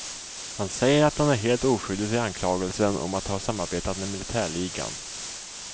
Han säger att han är helt oskyldig till anklagelsen om att ha samarbetat med militärligan.